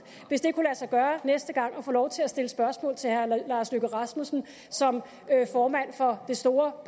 hvis det næste gang kunne få lov til at stille spørgsmål til herre lars løkke rasmussen som formand for det store